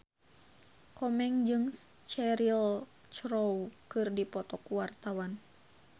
Komeng jeung Cheryl Crow keur dipoto ku wartawan